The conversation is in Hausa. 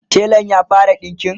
telan ya fara ɗinƙin?